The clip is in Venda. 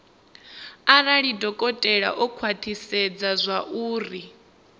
arali dokotela o khwathisedza zwauri